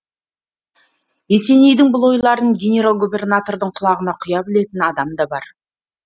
есенейдің бұл ойларын генерал губернатордың құлағына құя білетін адамы да бар